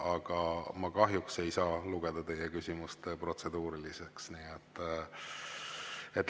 Aga ma kahjuks ei saa lugeda teie küsimust protseduuriliseks.